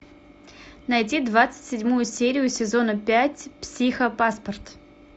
найди двадцать седьмую серию сезона пять психопаспорт